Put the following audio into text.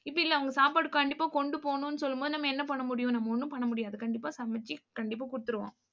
இப்படி இல்ல அவங்க சாப்பாடு கண்டிப்பா கொண்டு போகணும்னு சொல்லும் போது நம்ம என்ன பண்ண முடியும் நம்ம ஒண்ணும் பண்ண முடியாது. கண்டிப்பா சமைச்சு கண்டிப்பா கொடுத்துருவோம்